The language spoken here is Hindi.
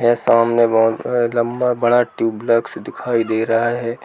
यह सामने बहुत बड़ा लंबा बड़ा ट्यूब लाइट्स दिखाई दे रहा है